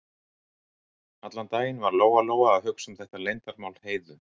Allan daginn var Lóa-Lóa að hugsa um þetta leyndarmál Heiðu.